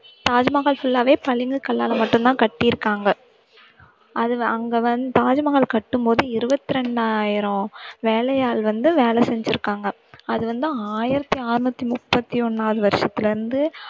Taj Mahal full ஆவே பளிங்கு கல்லால மட்டும்தான் கட்டி இருக்காங்க அதுல அங்க வந்~ தாஜ்மஹால் கட்டும்போது இருபத்திரண்டாயிரம் வேலையாள் வந்து வேலை செஞ்சிருக்காங்க அது வந்து ஆயிரத்தி அறுநூத்தி முப்பத்தி ஒண்ணாவது வருஷத்துல இருந்து